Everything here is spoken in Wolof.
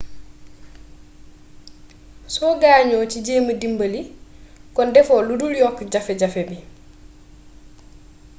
soo gaañoo ci jeema dimbali kon defoo ludul yokk jafe-jafe bi